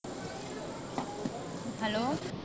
Hello